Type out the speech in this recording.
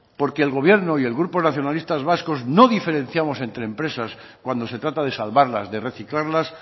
porque el gobierno y el grupo nacionalistas vascos no diferenciamos entre empresas cuando se trata de salvarlas de reciclarlas